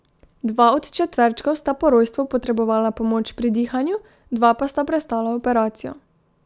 Dva od četverčkov sta po rojstvu potrebovala pomoč pri dihanju, dva pa sta prestala operacijo.